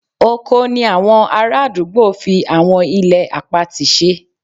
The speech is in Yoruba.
Oko ni àwọn ará àdúgbò fi àwọn ilẹ̀ àpatì ṣe